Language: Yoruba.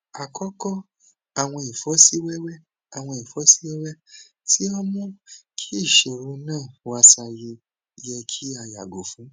akọkọ awọn ifosiwewe awọn ifosiwewe ti o mu ki iṣoro naa waye yẹ ki a yago fun